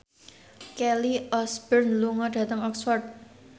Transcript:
Kelly Osbourne lunga dhateng Oxford